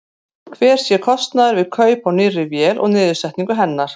Hver sé kostnaður við kaup á nýrri vél og niðursetningu hennar?